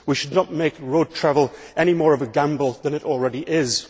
we should not make road travel any more of a gamble than it already is.